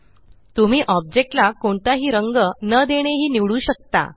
तुम्ही ऑब्जेक्ट ला कोणताही रंग न देणे हि निवडू शकता